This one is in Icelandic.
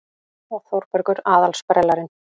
Og Þórbergur aðal-sprellarinn.